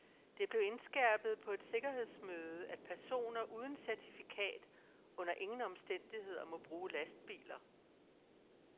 Det blev indskærpet på et sikkerhedsmøde, at personer uden certifikat under ingen omstændigheder må bruge lastbiler.